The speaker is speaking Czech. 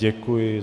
Děkuji.